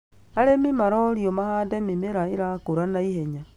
Arĩmi marorio mahande mĩmera irakũra naihenya